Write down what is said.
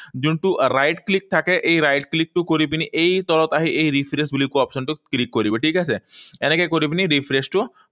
যোনটো right click থাকে, এই right click টো কৰি পিনি এই তলত আহি এই refresh বুলি কোৱা option টো click কৰিব, ঠিক আছে? এনেকৈ কৰি পিনি refresh টো